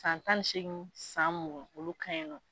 San tan ni seegin san mugan olu ka ɲi nɔ.